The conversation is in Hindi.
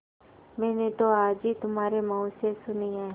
मैंने तो आज ही तुम्हारे मुँह से सुनी है